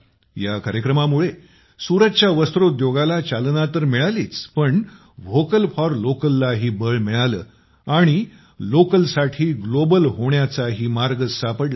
या कार्यक्रमामुळे सुरतच्या वस्त्रोदयोगाला चालना तर मिळालीच पण व्होकल फॉर लोकललाही बळ मिळालं आणि लोकलसाठी ग्लोबल होण्याचाही मार्ग सापडला